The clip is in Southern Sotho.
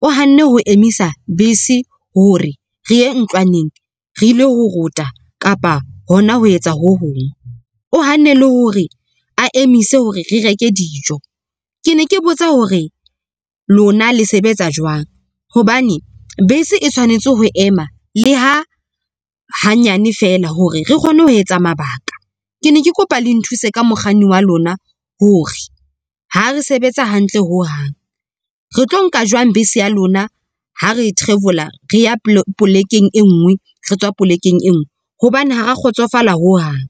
o hanne ho emisa bese hore re ye ntlwaneng re ile ho rota kapa hona ho etsa ho hong. O hanne le hore a emise hore re reke dijo. Ke ne ke botsa hore lona le sebetsa jwang? Hobane bese e tshwanetse ho ema le ha hanyane fela hore re kgone ho etsa mabaka. Ke ne ke kopa le nthuse ka mokganni wa lona hore ha re sebetsa hantle ho hang, re tlo nka jwang bese ya lona ha re travel-ola re ya polekeng e nngwe re tswa polekeng e nngwe hobane ha ra kgotsofala ho hang.